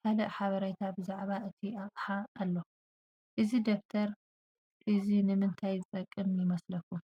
ካልእ ሓበሬታ ብዛዕባ እቲ ኣቕሓ ኣሎ። እዚ ደብተር እዚ ንምንታይ ዝጠቅም ይመስለኩም?